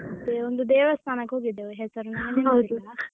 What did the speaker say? ಮತ್ತೇ ಒಂದು ದೇವಸ್ಥಾನಕ್ಕೆ ಹೋಗಿದ್ದೆವು ಹೆಸರು ನಂಗೆ ನೆನಪಿಲ್ಲ .